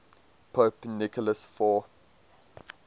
pope nicholas v